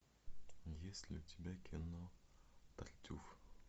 есть ли у тебя кино тартюф